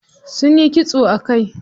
Sunyi kitso a kai.